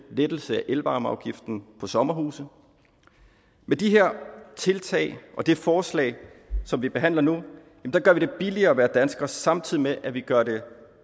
lettelse af elvarmeafgiften på sommerhuse med de her tiltag og det forslag som vi behandler nu gør vi det billigere at være dansker samtidig med at vi gør det